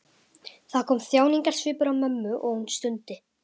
Það kom þjáningarsvipur á mömmu og hún stundi.